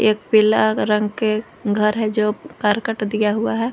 एक पीला रंग के घर है जो करकट दिया हुआ है।